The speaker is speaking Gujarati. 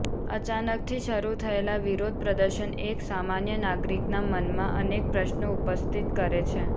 અચાનકથી શરૂ થયેલા વિરોધ પ્રદર્શન એક સામાન્ય નાગરિકનાં મનમાં અનેક પ્રશ્નો ઉપસ્થિત કરે છે